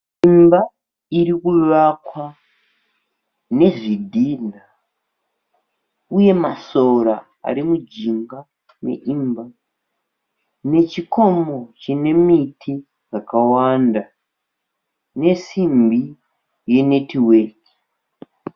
Imba iri kuvakwa nezvidhinha. Uye masora ari mijinga meimba, nechikomo chine miti dzakawanda nesimbi yenetiweki.